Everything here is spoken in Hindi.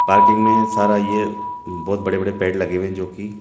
पार्किंग में सारा ये बहुत बड़े-बड़े पेड़ लगे हुए है जोकि --